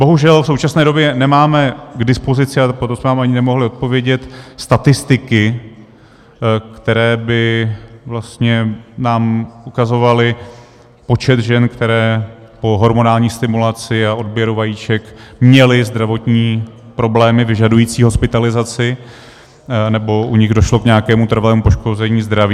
Bohužel v současné době nemáme k dispozici, a proto jsme vám ani nemohli odpovědět, statistiky, které by vlastně nám ukazovaly počet žen, které po hormonální stimulaci a odběru vajíček měly zdravotní problémy vyžadující hospitalizaci nebo u nich došlo k nějakému trvalému poškození zdraví.